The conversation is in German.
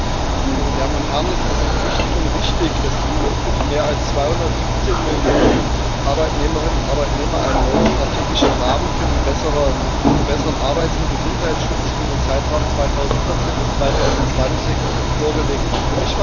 Herr Präsident, sehr geehrte Damen und Herren! Es ist wichtig und richtig, dass die EU für die mehr als 217 Millionen Arbeitnehmerinnen und Arbeitnehmer einen neuen strategischen Rahmen für besseren Arbeits und Gesundheitsschutz für den Zeitraum 2014 bis 2020 vorgelegt hat.